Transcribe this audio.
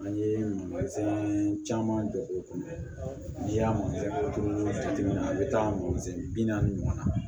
An ye caman don o kɔnɔ n'i y'a jateminɛ a bi taa bi naani ɲɔgɔn na